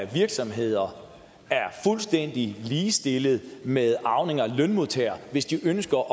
virksomheder er fuldstændig ligestillede med arvinger af lønmodtagere hvis de ønsker